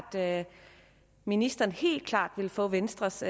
at ministeren helt klart vil få venstres